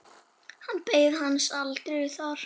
Hann beið hans aldrei þar.